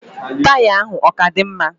Taya ya ahụ oka di mma?